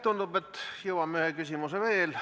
Tundub, et jõuame ühe küsimuse veel võtta.